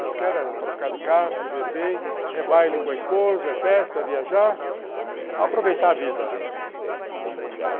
Eu quero trocar de carro, viver bem, é baile com a esposa, é festa, viajar, aproveitar a vida.